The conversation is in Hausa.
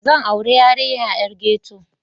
Zan auri 'yarinya 'yar ghetto.